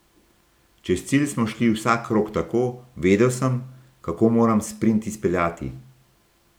Čez cilj smo šli vsak krog tako, vedel sem, kako moram sprint izpeljati.